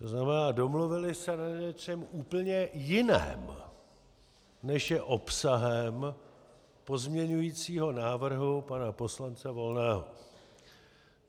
To znamená, domluvili se na něčem úplně jiném, než je obsahem pozměňujícího návrhu pana poslance Volného.